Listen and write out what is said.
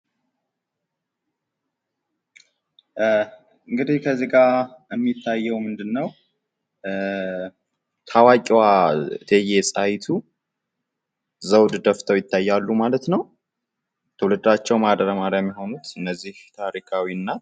እንግዲህ ከዚህጋ የሚታየው ምንድን ነው? ታዋቂዋ እቴጌ ጣይቱ ዘውድ ደፍተው ይታያሉ ማለት ነው። ትውልዳቸው ማህደረ ማርያም የሆኑት እነዚህ ታሪካዊ እናት።